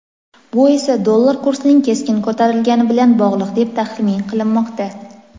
Bu esa dollar kursining keskin ko‘tarilgani bilan bog‘liq deb tahmin qilinmoqda.